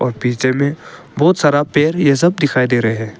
और पीछे में बहोत सारा पेड़ ये सब दिखाई दे रहे हैं।